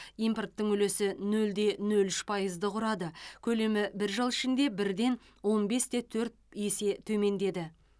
импорттың үлесі нөлде нөл үш пайызды құрады көлемі бір жыл ішінде бірден он бесте төрт есе төмендеді